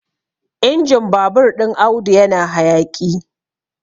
injin babur ɗin Audu yana hayaƙi